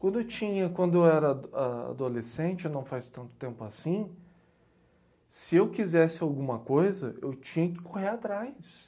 Tudo tinha. Quando eu era a, ah... adolescente, não faz tanto tempo assim, se eu quisesse alguma coisa, eu tinha que correr atrás.